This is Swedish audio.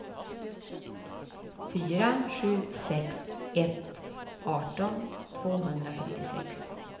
fyra sju sex ett arton tvåhundrafemtiosex